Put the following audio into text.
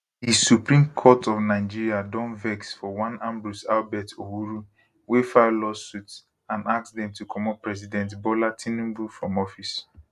di supreme court of nigeria don vex for one ambrose albert owuru wey file lawsuit and ask dem to comot president bola tinubu from office